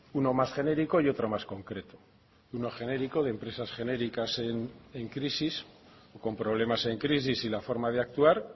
uno más genérico y otro más concreto uno genérico de empresas genéricas en crisis con problemas en crisis y la forma de actuar